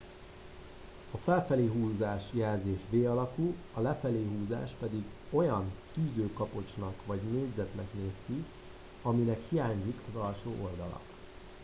a felfelé húzás jelzés v alakú a lefelé húzás pedig olyan tűzőkapocsnak vagy négyzetnek néz ki aminek hiányzik az alsó oldala